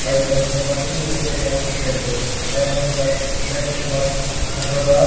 aru etu nodi te moi khan middle te ekta boat bi dikhi ase aru moi khan etu la left side te moi khan pathor pa.